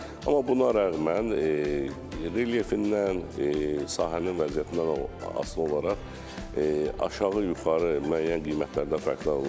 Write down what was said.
Amma buna rəğmən relyefindən, sahənin vəziyyətindən asılı olaraq aşağı-yuxarı müəyyən qiymətlərdə fərqlənə bilər.